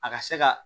A ka se ka